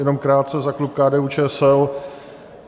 Jenom krátce za klub KDU-ČSL.